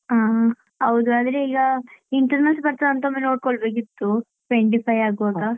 ಅಹ್ ಹಾ ಹೌದು ಆದ್ರೆ ಈಗ internals ಬರ್ತಾದಾ ಅಂತ ಒಮ್ಮೆ ನೋಡ್ಕೊಳ್ಬೇಕಿತ್ತು twenty-five ಆಗ್ವಾಗ